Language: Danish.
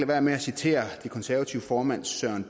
være med at citere de konservatives formand søren